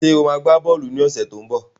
Sọ ma gbá bọ́ọ̀lù ní ọ̀sẹ̀ tó ń bọ̀?